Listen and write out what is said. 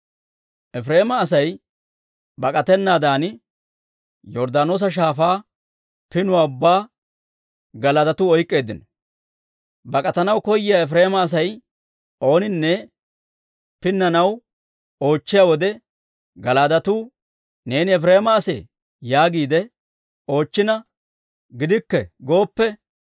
Efireema Asay bak'atennaadan, Yorddaanoosa Shaafaa pinuwaa ubbaa Gala'aadetuu oyk'k'eeddino; bak'atanaw koyiyaa Efireema Asay ooninne pinnanaw oochchiyaa wode Gala'aadetuu, «Neeni Efireema asee?» yaagiide oochchina, «Gidikke» gooppe,